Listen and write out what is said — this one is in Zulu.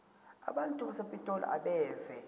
abantu basepitoli abeve